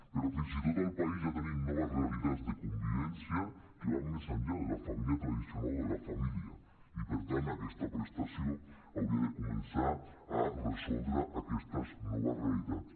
però fins i tot al país ja tenim noves realitats de convivència que van més en·llà de la família tradicional o de la família i per tant aquesta prestació hauria de començar a resoldre aquestes noves realitats